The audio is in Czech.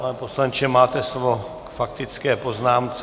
Pane poslanče, máte slovo k faktické poznámce.